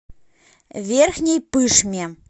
верхней пышме